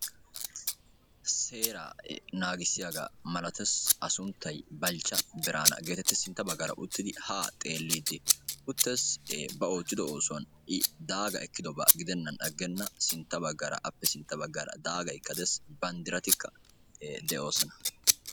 Seera naagissiyaaga malatees; A sunttay Balchcha Birana getetees; sintta baggara uttidi ha xeelidi uttees; ba ootido oosuwaan I daaga ekkidoba gidenan agena sintta baggara appe sintta baggara banddiratika de'oosona.